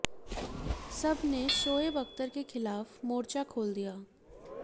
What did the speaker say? सब ने शोएब अख्तर के खिलाफ मोर्चा खोल दिया